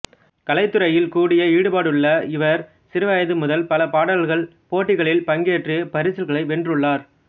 கலைத்துறையில் கூடிய ஈடுபாடுள்ள இவர் சிறு வயது முதல் பல பாடல் போட்டிகளில் பங்பேற்று பரிசில்களை வென்றுள்ளார்